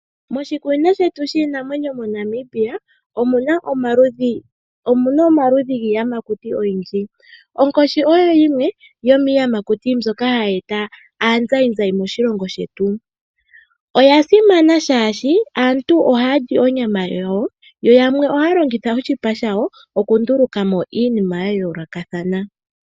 Moshikunino shetu shiinamwenyo moNamibia omu na omaludhi giiyamakuti ogendji. Onkoshi oyo yimwe yomiiyamakuti mbyoka hayi e ta aazayizayi moshilongo shetu. Oya simana molwaashoka aantu ohaa li onyama yawo ,yo yamwe ohaa longitha woo oshipa shawo okundulukapo iinima ya yoolokathana.